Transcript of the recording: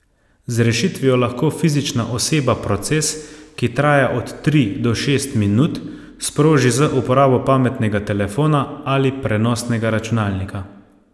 Z rešitvijo lahko fizična oseba proces, ki traja od tri do šest minut, sproži z uporabo pametnega telefona ali prenosnega računalnika.